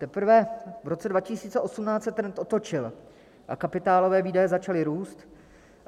Teprve v roce 2018 se trend otočil a kapitálové výdaje začaly růst.